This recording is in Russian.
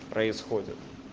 происходит